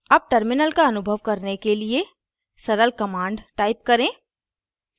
अब terminal का अनुभव करने के लिए सरल command type करें